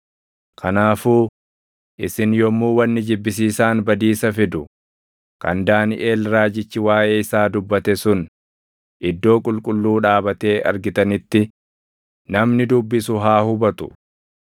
“Kanaafuu, ‘Isin yommuu wanni jibbisiisaan badiisa fidu’ + 24:15 \+xt Dan 9:27; 11:31; 12:11\+xt* kan Daaniʼel raajichi waaʼee isaa dubbate sun iddoo qulqulluu dhaabatee argitanitti, namni dubbisu haa hubatu;